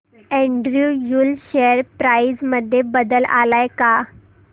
Andrew Yule share price मध्ये बदल आलाय का